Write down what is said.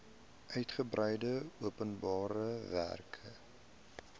uitgebreide openbare werke